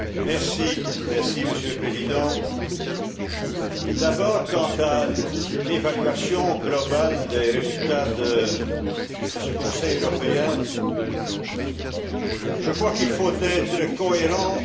Monsieur le Président, d'abord quant à l'évaluation globale des résultats de ce Conseil européen, je crois qu'il faut être cohérent dans l'analyse.